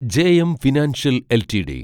JM financial LTD